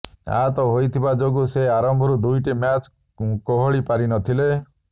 ଆହତ ହୋଇଥିବା ଯୋଗୁଁ ସେ ଆରମ୍ଭରୁ ଦୁଇଟି ମ୍ୟାଚ କେହଳି ପାରିନଥିଲେ